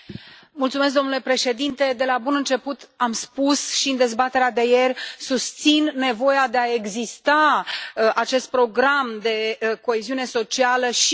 Domnule președinte, de la bun început am spus și în dezbaterea de ieri susțin nevoia de a exista a acestui program de coeziune socială și după